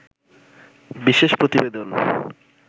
বিশেষ প্রতিবেদন